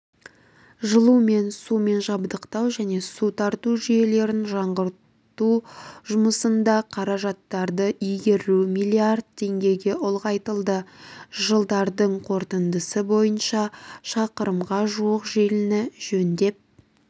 жылумен сумен жабдықтау және су тарту жүйелерін жаңғырту жұмыстарында қаражаттарды игеру миллиард теңгеге ұлғайтылды жылдардың қорытындысы бойынша шақырымға жуық желіні жөндеп